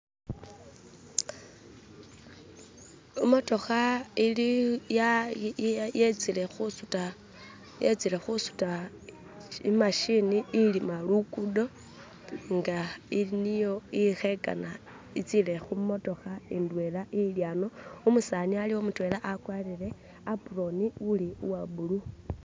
Imotokha ili yetsile khusuta imashini ilima lugudo nga ili niyo ikhekana itsile khumutokha indwela ili ano, umusani alikho mutwela akwarire apron uli uwo bulu.